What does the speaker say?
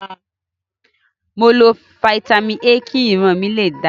Mo lo Fitami A kí ìran mi lè dáa.